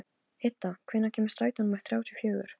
Idda, hvenær kemur strætó númer þrjátíu og fjögur?